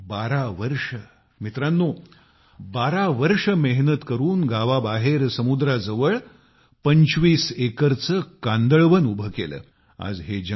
त्यांनी 12 वर्षे मित्रानो 12 वर्ष मेहनत करून गावाबाहेर समुद्राजवळ 25 एकरचे कांदळवन उभे केले